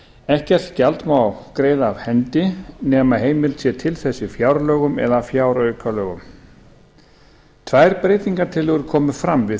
ekkert gjald má greiða af hendi nema heimild sé til þess í fjárlögum eða fjáraukalögum tvær breytingartillögur komu fram við þrítugustu